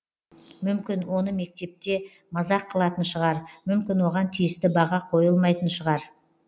мүмкін оны мектепте мазақ қылатын шығар мүмкін оған тиісті баға қойылмайтын шығар